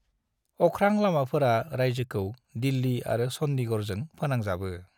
अख्रां लामाफोरा रायजोखौ दिल्ली आरो चंडीगढ़जों फोनांजाबो।